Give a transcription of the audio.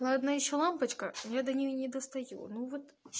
ладно ещё лампочка я до неё не достаю ну вот